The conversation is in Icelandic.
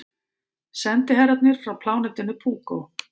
Sendiherrarnir frá plánetunni Púkó.